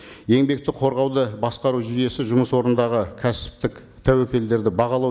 еңбекті қорғауды басқару жүйесі жұмыс орындағы кәсіптік тәуекелдерді бағалау